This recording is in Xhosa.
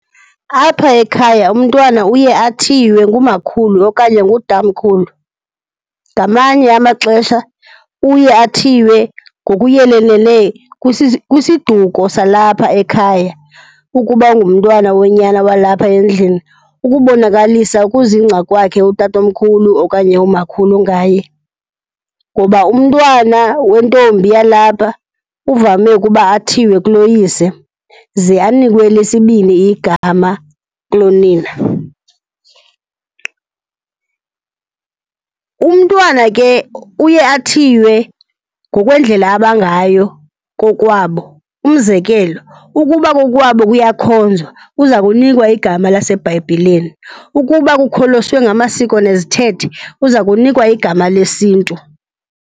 Apha ekhaya umntwana uye athiywe ngumakhulu okanye ngutamkhulu. Ngamanye amaxesha uye athiywe ngokuyelelele kwisiduko salapha ekhaya ukuba ungumntwana wonyana walapha endlini, ukubonakalisa ukuzingca kwakhe utatomkhulu okanye umakhulu ngaye. Ngoba umntwana wentombi yalapha uvame ukuba athiywe kuloyise, ze anikwe elesibini igama kulonina. Umntwana ke uye athiywe ngokwendlela abangayo kokwabo. Umzekelo, ukuba kokwabo kuyakhonzwa, uza kunikwa igama laseBhayibhileni. Ukuba kukholoswe ngamasiko nezithethe, uza kunikwa igama lesintu.